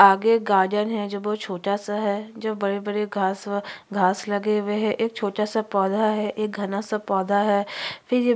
आगे गार्डन है जो बहुत छोटा सा है जो बड़े बड़े घाँस व घाँस लगे हुए है एक छोटा सा पौधा है एक घना सा पौधा है फिर ये--